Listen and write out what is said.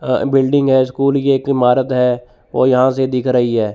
अह building है school की एक इमारत है और यहां से दिख रही है।